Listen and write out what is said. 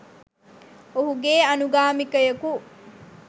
ඔහුගේ අනුගාමිකයකු